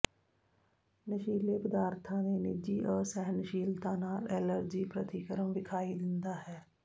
ਨਸ਼ੀਲੇ ਪਦਾਰਥਾਂ ਦੇ ਨਿਜੀ ਅਸਹਿਣਸ਼ੀਲਤਾ ਨਾਲ ਐਲਰਜੀ ਪ੍ਰਤੀਕਰਮ ਵਿਖਾਈ ਦਿੰਦਾ ਹੈ